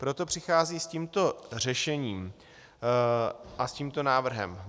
Proto přichází s tímto řešením a s tímto návrhem.